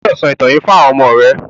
O gbódò sọ ìtàn yíì fún àwọn ọmọ rẹ!